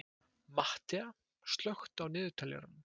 Mattea, slökktu á niðurteljaranum.